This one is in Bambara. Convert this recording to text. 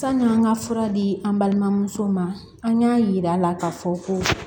San'an ka fura di an balimamusow ma an y'a yira a la k'a fɔ ko